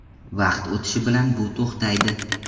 Vaqt o‘tishi bilan bu to‘xtaydi.